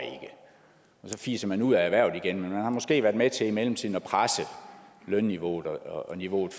så fiser man ud af erhvervet igen men man har måske været med til i mellemtiden at presse lønniveauet og niveauet